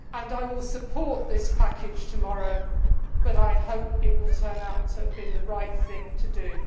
I will support this package tomorrow but I hope it will turn out to have been the right thing to do.